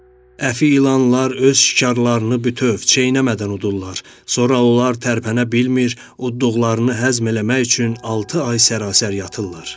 Əfi ilanlar öz şikarlarını bütöv, çeynəmədən udurlar, sonra onlar tərpənə bilmir, uddıqlarını həzm eləmək üçün altı ay sərasər yatırlar.